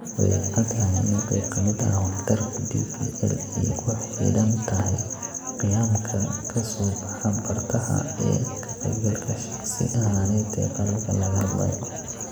Way caddahay in qayb ka mid ah waxtarka DPL ay ku xidhan tahay qiyamka ka soo baxa bartaha ee ka qaybgalka shakhsi ahaaneed ee qalabka laga hadlayo.